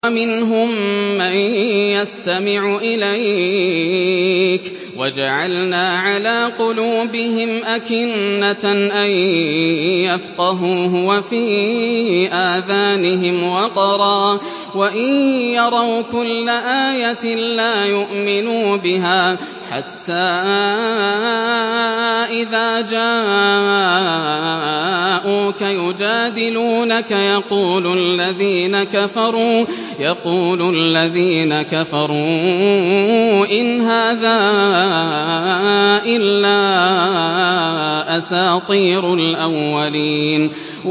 وَمِنْهُم مَّن يَسْتَمِعُ إِلَيْكَ ۖ وَجَعَلْنَا عَلَىٰ قُلُوبِهِمْ أَكِنَّةً أَن يَفْقَهُوهُ وَفِي آذَانِهِمْ وَقْرًا ۚ وَإِن يَرَوْا كُلَّ آيَةٍ لَّا يُؤْمِنُوا بِهَا ۚ حَتَّىٰ إِذَا جَاءُوكَ يُجَادِلُونَكَ يَقُولُ الَّذِينَ كَفَرُوا إِنْ هَٰذَا إِلَّا أَسَاطِيرُ الْأَوَّلِينَ